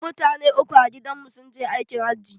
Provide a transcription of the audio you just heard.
Mutane uku a gidan mu sun je aikin hajji.